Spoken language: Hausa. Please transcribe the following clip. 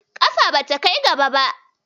Kafa bata kai gaba ba.